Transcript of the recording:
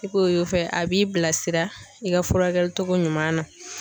I k'o fɛn a b'i bilasira i ka furakɛli cogo ɲuman na.